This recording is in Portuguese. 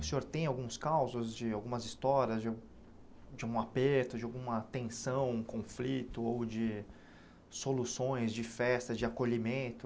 O senhor tem alguns casos de, algumas histórias de de um aperto, de alguma tensão, conflito ou de soluções, de festas, de acolhimento?